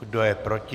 Kdo je proti?